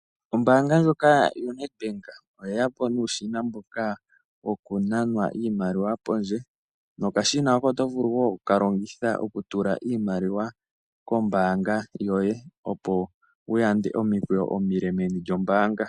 Ombaanga ndjoka yo Ned Bank oye ya po nuushina mboka woku nanwa iimaliwa pondje, nokashina hoka too vulu wo oku ka longitha oku tula iimaliwa kombaanga yoye, opo wu yande omikweeyo omile meni lyombaanga.